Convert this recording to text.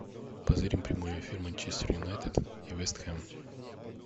позырим прямой эфир манчестер юнайтед и вест хэм